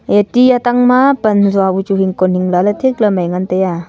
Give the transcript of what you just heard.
ya tih atang ma pan hazua bu chu hingkon hingla ley thik ley mai ngan taiya.